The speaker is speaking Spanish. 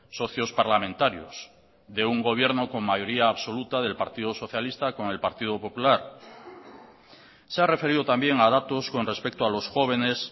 socios parlamentarios de un gobierno con mayoría absoluta del partido socialista con el partido popular se ha referido también a datos con respecto a los jóvenes